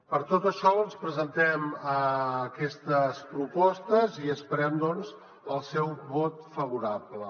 per tot això els presentem aquestes propostes i esperem doncs el seu vot favorable